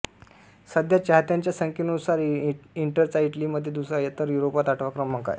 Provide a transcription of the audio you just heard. सध्या चाहत्यांच्या संख्येनुसार इंटरचा इटलीमध्ये दुसरा तर युरोपात आठवा क्रमांक आहे